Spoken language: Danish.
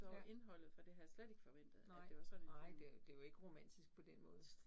Ja, nej, nej det det jo ikke romantisk på den måde